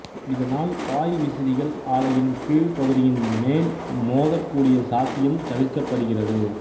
இதனால் பாய்விசிறிகள் ஆலையின் கீழ் பகுதியின் மேல் மோதக்கூடிய சாத்தியம் தவிர்க்கப்படுகிறது